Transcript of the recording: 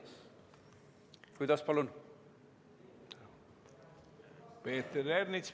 Peeter Ernits, palun!